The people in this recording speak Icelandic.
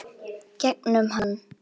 Gegnum hann.